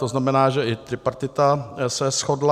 To znamená, že i tripartita se shodla.